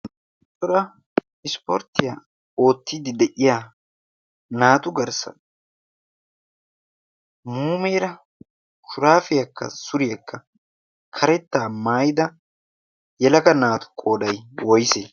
tora ispporttiyaa oottiiddi de'iya naatu garssa muumeera kuraafiyaakka suriyaakka karettaa maayida yelaka naatu qooday woyse?